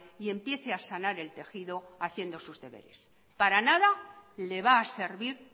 y empiece a sanar el tejido haciendo sus deberes para nada le va a servir